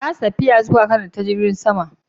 Na rasa tafiya na zuwa kanada ta jirgin sama.